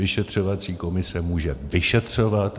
Vyšetřovací komise může vyšetřovat.